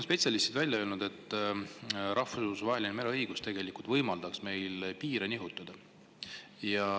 Spetsialistid on välja öelnud, et rahvusvaheline mereõigus võimaldaks meil piire nihutada.